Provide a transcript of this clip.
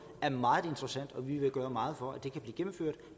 er meget interessant og vi vil gøre meget for at det kan blive gennemført